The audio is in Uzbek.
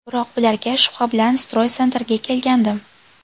Biroq bularga shubha bilan Stroy Center’ga kelgandim.